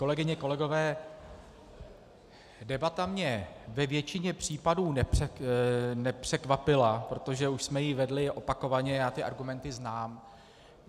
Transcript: Kolegyně, kolegové, debata mě ve většině případů nepřekvapila, protože už jsme ji vedli opakovaně, já ty argumenty znám.